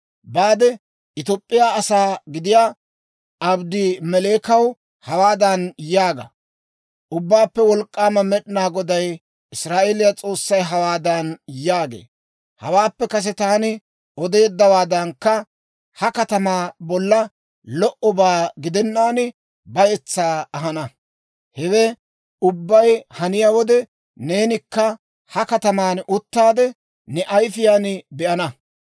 «Baade Top'p'iyaa asaa gidiyaa Abedmeleekaw hawaadan yaaga; ‹Ubbaappe Wolk'k'aama Med'inaa Goday, Israa'eeliyaa S'oossay, hawaadan yaagee; «Hawaappe kase taani odeeddawaadankka ha katamaa bollan lo"obaa gidennaan, bayetsaa ahana. Hewe ubbay haniyaa wode, neenikka ha kataman uttaade, ne ayifiyaan be'ana.